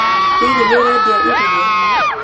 Hihi nĩ ũrendia iria?